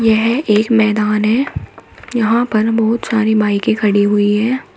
यह एक मैदान है यहां पर बहुत सारी बाइके खड़ी हुई है।